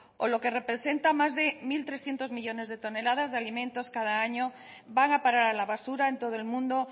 o lo que representa más de mil trescientos millónes de toneladas de alimentos cada año van a parar a la basura en todo el mundo